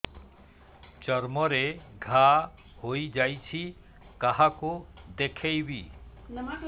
ଚର୍ମ ରେ ଘା ହୋଇଯାଇଛି କାହାକୁ ଦେଖେଇବି